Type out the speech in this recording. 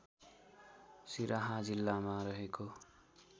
सिराहा जिल्लामा रहेको